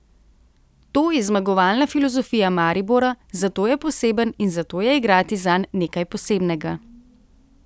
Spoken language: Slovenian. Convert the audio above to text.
To je zmagovalna filozofija Maribora, zato je poseben in zato je igrati zanj nekaj posebnega.